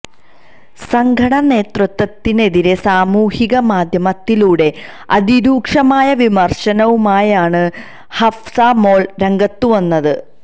സംഘടനാ നേതൃത്വത്തിനെതിരേ സാമൂഹിക മാധ്യമത്തിലൂടെ അതിരൂക്ഷമായ വിമർശനവുമായാണ് ഹഫ്സ മോൾ രംഗത്തുവന്നത്